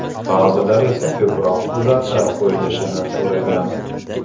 Ba’zilar esa ko‘proq suratlar qo‘yilishini so‘ragan.